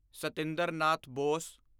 Satinder Nath Bose